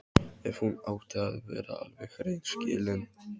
Ef hún átti að vera alveg hreinskilin.